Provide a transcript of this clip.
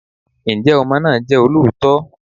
Ǹjẹ́ ọmọ náà jẹ́ olóòótọ́?